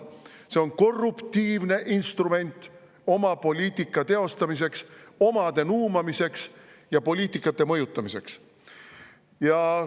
See on korruptiivne instrument oma poliitika teostamiseks, omade nuumamiseks ja poliitika mõjutamiseks.